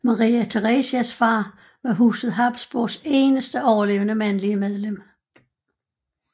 Maria Theresias far var Huset Habsburgs eneste overlevende mandlige medlem